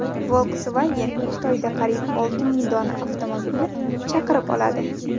Volkswagen Xitoyda qariyb olti ming dona avtomobilni chaqirib oladi.